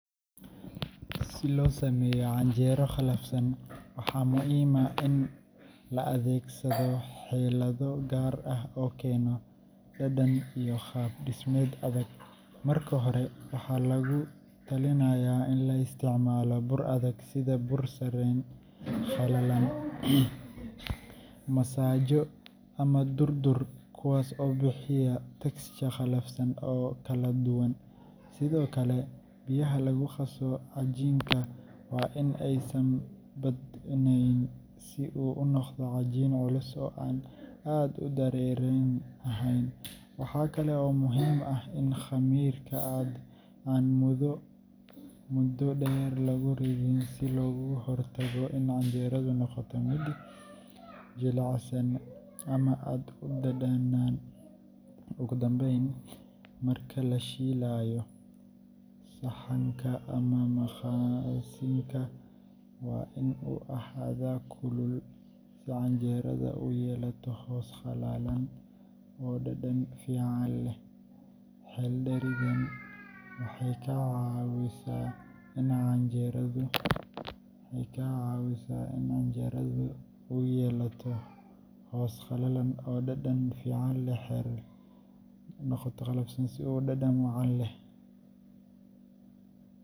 Si loo sameeyo canjeero qalafsan, waxaa muhiim ah in la adeegsado xeelado gaar ah oo keena dhadhan iyo qaab-dhismeed adag. Marka hore, waxaa lagu talinayaa in la isticmaalo bur adag sida bur sarreen qallalan, masago ama durdur, kuwaas oo bixiya texture qalafsan oo kala duwan. Sidoo kale, biyaha lagu qaso cajiinka waa in aysan badnayn si uu u noqdo cajiin culus oo aan aad u dareere ahayn. Waxaa kale oo muhiim ah in khamiirka aan muddo dheer lagu ridin si looga hortago in canjeeradu noqoto mid jilicsan ama aad u dhanaan. Ugu dambayn, marka la shiilayo, saxanka ama maqaasinka waa in uu ahaadaa kulul si canjeeradu u yeelato hoos qallalan oo dhadhan fiican leh. Xeeldheeridaan waxay ka caawisaa in canjeeradu noqoto mid qalafsan, ur iyo dhadhan wacan leh.